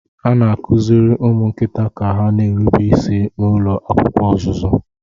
A na-akụziri ụmụ nkịta ka ha na-erube isi n'ụlọ akwụkwọ ọzụzụ.